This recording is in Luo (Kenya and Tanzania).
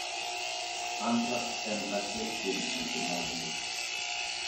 Anthrax en achiel kuom tuoche mag le.